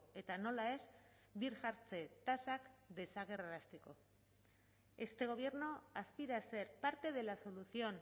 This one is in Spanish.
eta nola ez birjartze tasak desagerrarazteko este gobierno aspira a ser parte de la solución